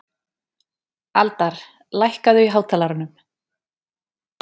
Aldar, lækkaðu í hátalaranum.